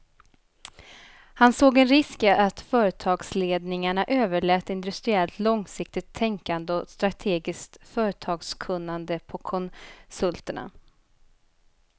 Han såg en risk i att företagsledningarna överlät industriellt långsiktigt tänkande och strategiskt företagskunnande på konsulterna.